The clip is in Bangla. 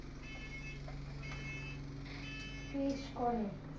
প্রেস করে।